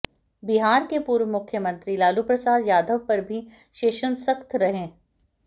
बिहार के पूर्व मुख्यमंत्री लालू प्रसाद यादव पर भी शेषन सख्त रहे